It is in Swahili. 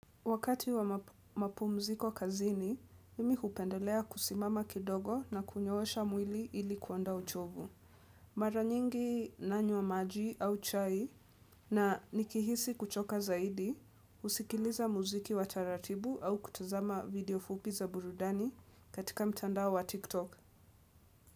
Wakati wa mapumziko kazini, mimi hupendelea kusimama kidogo na kunyoosha mwili ili kuonda uchovu. Mara nyingi nanywa maji au chai na nikihisi kuchoka zaidi, usikiliza muziki wa taratibu au kutazama video fupi za burudani katika mtandao wa TikTok.